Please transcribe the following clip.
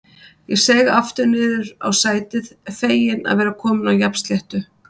Ég seig aftur niður á sætið, feginn að vera kominn á jafnsléttu.